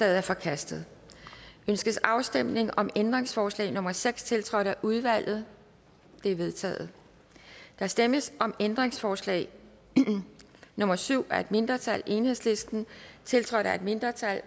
er forkastet ønskes afstemning om ændringsforslag nummer seks tiltrådt af udvalget det er vedtaget der stemmes om ændringsforslag nummer syv af et mindretal tiltrådt af et mindretal